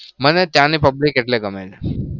મને ત્યાની public એટલે ગમે છે.